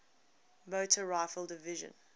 motor rifle division